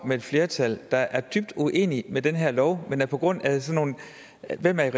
med et flertal der er dybt uenig i den her lov men på grund af hvem der er